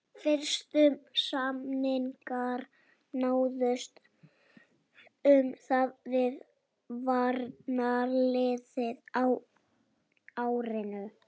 Fyrstu samningar náðust um það við varnarliðið á árinu